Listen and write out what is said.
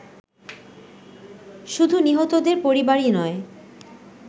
শুধু নিহতদের পরিবারই নয়